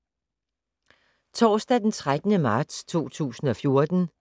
Torsdag d. 13. marts 2014